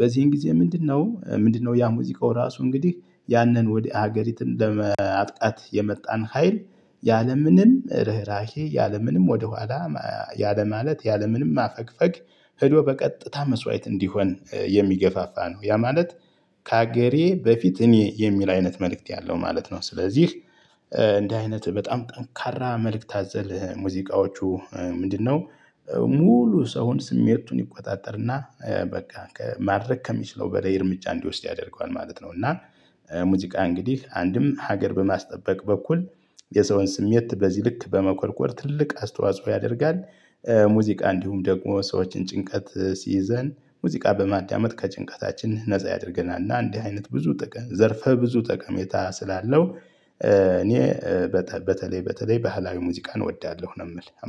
በዚህን ጊዜ ምንድነው ምንድነው? ያ ሙዚቃው ራሱ እንግዲህ ያንን ወደ ሀገሪቱ ለማጥቃት የመጣን ሀይል ያለምንም ርህራሄ ያለምንም ወደኋላ ያለ ማለት ያለምንም ማፈግፈግ ሄዶ በቀጥታ መስዋዕት እንዲሆን የሚገፋፋ ነው ያ ማለት ከሀገሬ በፊት እኔ የሚል አይነት መልእክት ያለው ማለት ነው። ስለዚህ እንደ አይነት በጣም ጠንካራ መልእክት አዘል ሙዚቃዎቹ ምንድነው? ሙሉ ሰውን ስሜቱን ይቆጣጠርና በቃ ከማድረግ ከሚችለው በላይ እርምጃ እንዲወስድ ያደርገዋል ማለት ነው። እና ሙዚቃ እንግዲህ አንድም ሀገር በማስጠበቅ በኩል የሰውን ስሜት በዚህ ልክ በመቆርቆር ትልቅ አስተዋጽኦ ያደርጋል። ሙዚቃ እንዲሁም ደግሞ ሰዎችን ጭንቀት ሲይዘን ሙዚቃ በማዳመጥ ከጭንቀታችን ነፃ ያደርገናል እና እንዲህ አይነት ብዙ ዘርፈ ብዙ ጠቀሜታ ስላለው። እኔ በተለይ በተለይ ባህላዊ ሙዚቃን እወዳለሁ ነው የምል